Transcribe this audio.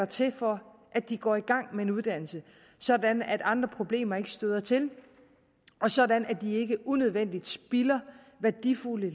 til for at de går i gang med en uddannelse sådan at andre problemer ikke støder til og sådan at de ikke unødvendigt spilder værdifulde